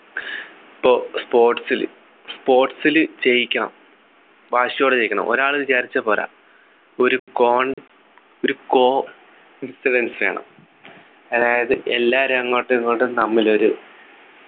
പ്പോ sports ല് sports ല് ജയിക്കണം വാശിയോടെ ജയിക്കണം ഒരാള് വിചാരിച്ചാൽ പോരാ ഒരു കോൺ ഒരു co nfidence വേണം അതായത് എല്ലാരും അങ്ങോട്ടും ഇങ്ങോട്ടും തമ്മിലൊരു